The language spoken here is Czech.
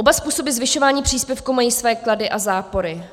Oba způsoby zvyšování příspěvku mají své klady a zápory.